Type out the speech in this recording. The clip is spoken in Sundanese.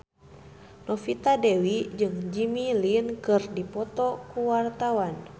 Novita Dewi jeung Jimmy Lin keur dipoto ku wartawan